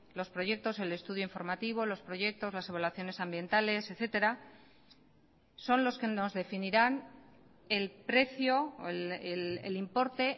los proyectos el estudio informativo los proyectos las evaluaciones ambientales etcétera son los que nos definirán el precio o el importe